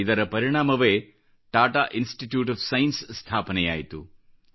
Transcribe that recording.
ಇದರ ಪರಿಣಾಮವೇ Tata institute of science ಸ್ಥಾಪನೆಯಾಯಿತು